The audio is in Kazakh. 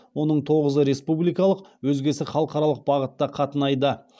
оның тоғызы республикалық өзгесі халықаралық бағытта қатынайды